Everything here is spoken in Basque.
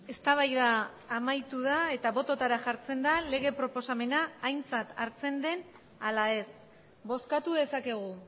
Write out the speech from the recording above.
eztabaida amaitu da eta bototara jartzen da lege proposamena aintzat hartzen den ala ez bozkatu dezakegu